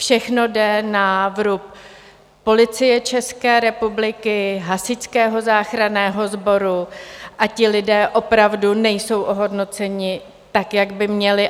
Všechno jde na vrub Policie České republiky, Hasičského záchranného sboru a ti lidé opravdu nejsou ohodnoceni tak, jak by měli.